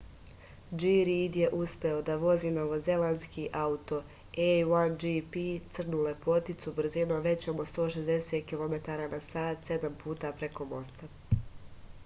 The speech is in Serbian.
g rid je uspeo da vozi novozelandski auto a1gp crnu lepoticu brzinom većom od 160 km/h sedam puta preko mosta